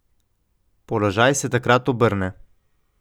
Položaj se takrat obrne.